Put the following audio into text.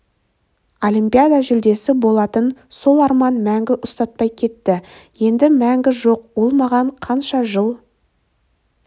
олимпиада жүлдесі болатын сол арман мәңгі ұстатпай кетті енді мәңгі жоқ ол маған қанша жыл